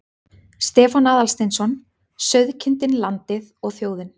Stefán Aðalsteinsson: Sauðkindin, landið og þjóðin.